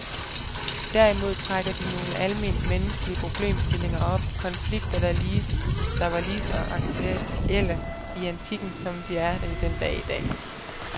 Derimod trækker de nogle alment menneskelige problemstillinger op, konflikter der var lige så aktuelle i antikken, som de er det den dag i dag.